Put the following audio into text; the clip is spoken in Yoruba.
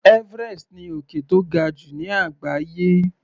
Everest ni òkè tó ga jù ní àgbáyé.